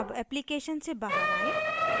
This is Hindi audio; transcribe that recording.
अब application से बाहर आएँ